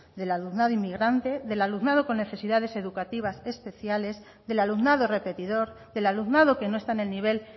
del alumnado inmigrante del alumnado con necesidades educativas especiales del alumnado repetidor del alumnado que no está en el nivel